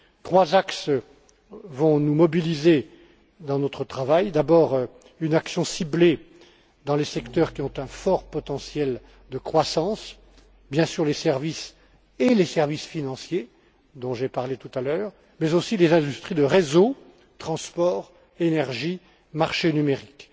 Trois axes vont nous mobiliser dans notre travail d'abord une action ciblée dans les secteurs qui ont un fort potentiel de croissance, bien sûr les services et les services financiers dont j'ai parlé tout à l'heure, mais aussi les industries de réseau transport, énergie, marché numérique.